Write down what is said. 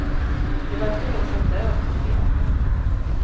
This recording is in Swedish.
Det var få som dög tyckte jag.